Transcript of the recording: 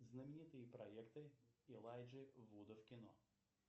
знаменитые проекты элайджи вуда в кино